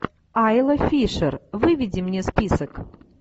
айла фишер выведи мне список